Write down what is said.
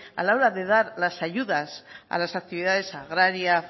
a la hora de dar las ayudas a las actividades agrarias